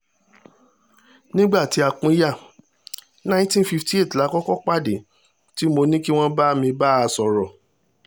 nígbà tí a pínyà nineteen fifty eight la kọ́kọ́ pàdé tí mo ní kí wọ́n bá mi bá a sọ̀rọ̀